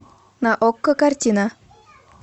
на окко картина